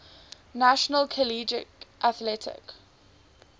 national collegiate athletic